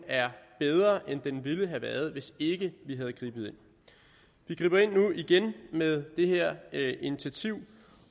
er bedre end den ville have været hvis ikke vi havde grebet ind vi griber ind nu igen med det her initiativ